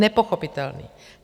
Nepochopitelný!